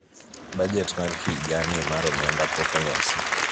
bajet ma higa ni mar omenda pok olosi